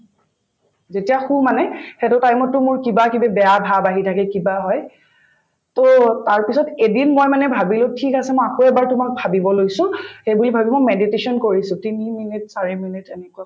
যেতিয়া শোওঁ মানে সেইটো time ত to মোৰ কিবাকিবি বেয়া ভাব আহি থাকে কিবা হয় to তাৰপিছত এদিন মই মানে ভাবিলো ঠিক আছে মই আকৌ এবাৰ তোমাক ভাবিব লৈছো সেইবুলি ভাবি মই meditation কৰিছো তিনি minute চাৰি minute এনেকুৱা